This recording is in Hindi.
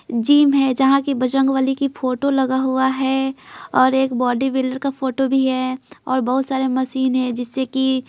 जिम हैजहां की बजरंगवली की फोटो लगा हुआ है और एक बॉडी बिल्डर का फोटो भी हैऔर बहुत सारे मशीन हैजिससे कि।